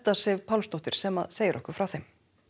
Sif Pálsdóttir sem segir okkur frá þeim